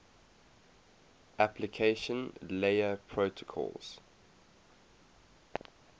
application layer protocols